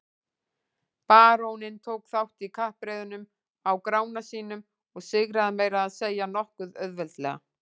Baróninn tók þátt í kappreiðunum á Grána sínum og sigraði meira að segja nokkuð auðveldlega.